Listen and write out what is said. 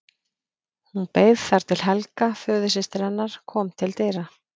Hún beið þar til Helga, föðursystir hennar, kom til dyra.